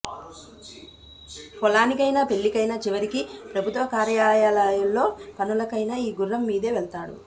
పొలానికైనా పెళ్లికైనా చివరికి ప్రభుత్వ కార్యాలయాల్లో పనులకైనా ఈ గుర్రం మీదే వెళ్తాడు